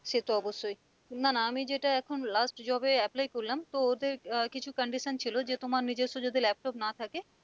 সে তো অবশ্যই না না আমি যেটা এখন last job এ apply করলাম তো ওদের আহ কিছু condition ছিল যে তোমার নিজস্ব যদি laptop না থাকে